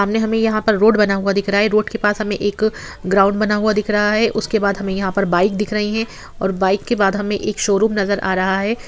सामने हमें यहाँ पर रोड बना हुआ दिख रहा है | रोड के पास हमें एक ग्राउंड बना हुआ दिख रहा है | उसके बाद हमें यहाँ पर बाइक दिख रही है और बाइक के बाद हमें एक शोरूम नजर आ रहा है।